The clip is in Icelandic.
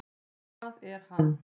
Hvað er hann?